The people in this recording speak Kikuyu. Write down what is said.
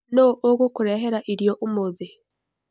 Nũ ũgũkũrehera irio ũmũthĩ?